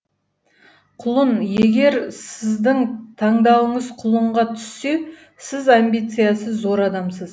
құлын егер сіздің таңдауыңыз құлынға түссе сіз амбициасы зор адамсыз